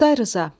Oktay Rza.